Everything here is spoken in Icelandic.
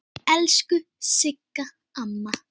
Elsku Sigga amma.